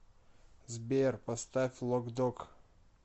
сбер поставь лок дог